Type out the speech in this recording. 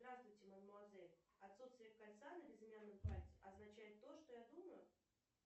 здравствуйте мадмуазель отсутствие кольца на безымянном пальце означает то что я думаю